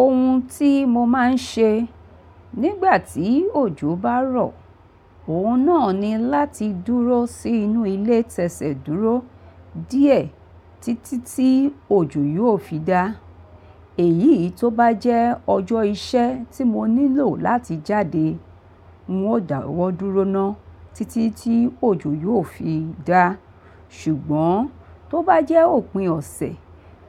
Ohun tí mo máa ń ṣe nígbà tí òjò bá rọ̀, òun náà ni láti dúró sí inú ilé tẹsẹ̀ dúró díẹ̀ títí tí òjò yóò fi dá. Èyí tó bá jẹ́ ọjọ́ iṣẹ́ tí mo nílò láti jáde, n ó dàwọ́ dúró ná títí tí òjò yóò fi dá. Ṣùgbọ́n tó bá jẹ́ òpin ọ̀sẹ̀,